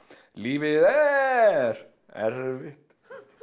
lífið er erfitt